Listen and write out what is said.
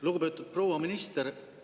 Lugupeetud proua minister!